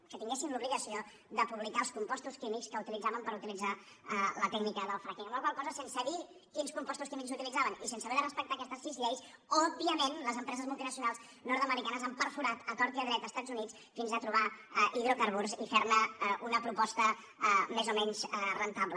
que tinguessin l’obligació de publicar els compostos químics que utilitzaven per utilitzar la tècnica del frackingse dir quins compostos químics utilitzaven i sense haver de respectar aquestes sis lleis òbviament les empreses multinacionals nordamericanes han perforat a tort i a dret els estats units fins a trobar hidrocarburs i ferne una proposta més o menys rendible